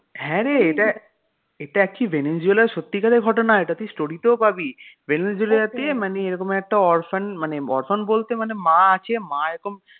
হ্যাঁ রে এটা এটা একটি ভেনেজুয়েলার সত্যিকারের ঘটনা এটা তুই story তেও পাবি ভেনেজুয়েলাতে মানে এরকম একটা orphan মানে orphan বলতে মানে মা আছে মা এরকম